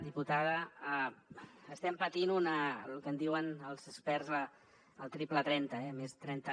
diputada estem patint el que en diuen els experts el triple trenta eh més de trenta